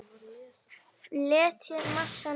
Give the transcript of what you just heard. Fletjið massann út.